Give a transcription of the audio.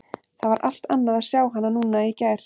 Það var allt annað að sjá hana núna en í gær.